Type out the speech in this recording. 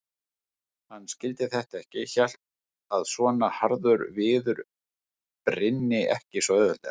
Hann skildi þetta ekki, hélt að svona harður viður brynni ekki svo auðveldlega.